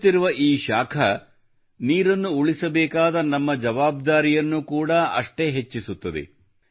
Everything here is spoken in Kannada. ಏರುತ್ತಿರುವ ಈ ಶಾಖವು ನೀರಿನ ಸಂರಕ್ಷಣೆಯ ನಮ್ಮ ಜವಾಬ್ದಾರಿಯನ್ನೂ ಕೂಡ ಅಷ್ಟೇ ಹೆಚ್ಚಿಸುತ್ತದೆ